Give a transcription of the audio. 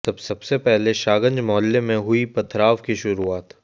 सबसे पहले शाहगंज मोहल्ले में हुई पथराव की शुरुआत